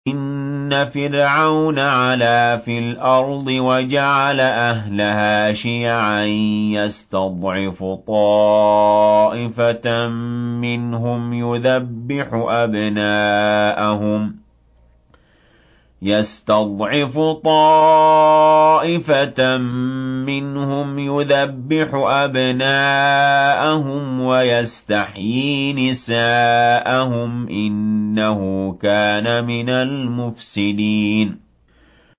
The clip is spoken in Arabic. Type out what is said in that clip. إِنَّ فِرْعَوْنَ عَلَا فِي الْأَرْضِ وَجَعَلَ أَهْلَهَا شِيَعًا يَسْتَضْعِفُ طَائِفَةً مِّنْهُمْ يُذَبِّحُ أَبْنَاءَهُمْ وَيَسْتَحْيِي نِسَاءَهُمْ ۚ إِنَّهُ كَانَ مِنَ الْمُفْسِدِينَ